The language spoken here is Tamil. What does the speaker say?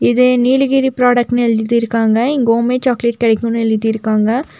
இது நீலகிரி புரோடக்ட்ன்னு எழுதிருக்காங்க இங்க ஹோம்மேட் சாக்லேட் கிடைக்கும்னு எழுதிருக்காங்க.